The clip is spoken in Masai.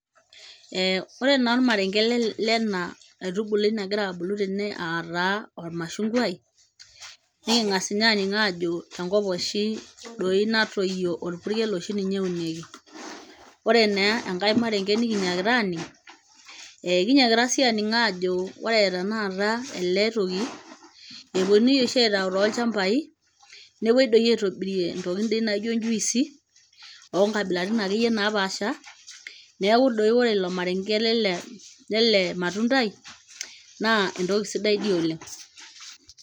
Eh ore naa ormarenke lena aitubului nagira abulu tene ataa ormashungwai niking'as ninye aniny ajo enkop oshi doi natoyio orpurkel oshi ninye eunieki ore naa enkae marenge nikinyakita aning eh kinyiakita sii aning ajo ore tenakata ele toki eponunui oshi aitau tolchambai nepuoi doi aitobirie ntokitin dii naijo njuisi onkabilaritin akeyie napaasha neeku doi ore ilo marenke lele, lele matundai naa entoki sidai dii oleng.